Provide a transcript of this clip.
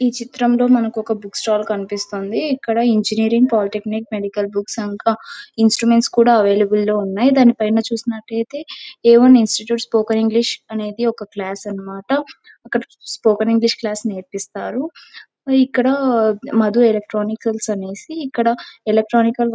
ఈ చిత్రంలో మనకు ఒక బుక్ స్టాల్ కనిపిస్తోంది. ఇక్కడ engineering polytechnic medical books instruments కూడా అవైలబుల్లో ఉన్నాయి. దాని పైన చూసినట్లయితే ఏమని ఇన్స్టిట్యూట్ స్పోకెన్ ఇంగ్లీష్ అనేది ఒక క్లాస్ అనమాట. ఒకటి స్పోకెన్ ఇంగ్లీష్ క్లాస్ నేర్పిస్తారు. ఇక్కడ మధు ఎలక్ట్రానిక్స్ అనేసి ఇక్కడ ఎలక్ట్రానికల్ --